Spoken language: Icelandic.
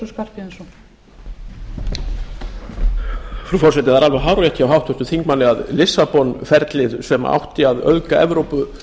það er alveg hárrétt hjá háttvirtum þingmanni að lissabon ferlið sem átti að auðga evrópu